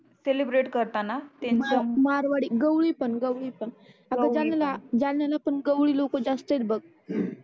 celebrate करताना ते त्यांच मारवाडी गवळी पण गवडी पण गवळी पण अग जालनाला पण गवळी लोक जास्तच आहे बग